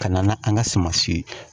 Ka na n'an ka sumansi ye